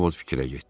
Ovod fikrə getdi.